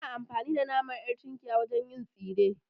Ana amfani da naman ƴar tunkiya wajen yin tsire